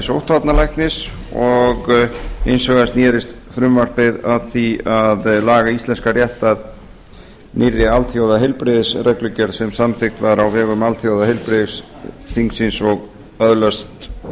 sóttvarnalæknis og hins vegar snerist frumvarpið að því að laga íslenskan rétt að nýrri alþjóðaheilbrigðisreglugerð sem samþykkt var á vegum alþjóðaheilbrigðisþingsins og öðlast